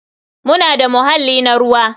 Muna da muhalli na ruwa.